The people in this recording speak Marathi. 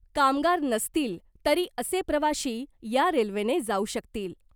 कामगार नसतील तरी असे प्रवाशी या रेल्वेने जाऊ शकतील .